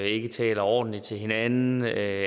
ikke taler ordentligt til hinanden er